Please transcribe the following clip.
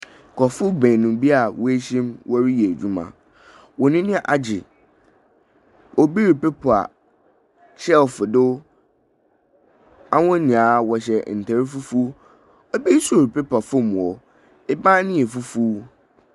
Nkorɔfo beenu bi woehyia mu wɔreyɛ edwuma, hɔn anyi agye, obi repepa shelf do, hɔn nyina wɔhyɛ ntar fufuw, bi so repepa famu hɔ, ban no yɛ fufuw.